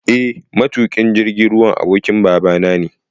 Eh matuƙin jirgin ruwan abokin babana ne.